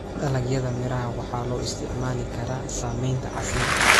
Dalagyada miraha waxaa loo isticmaali karaa sameynta casiirka.